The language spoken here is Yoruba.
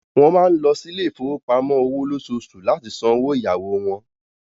Wọ́n máa ń lọ sí ilé ìfowópamọ́ òwò lóṣooṣù láti san owó ìyáwó wọn.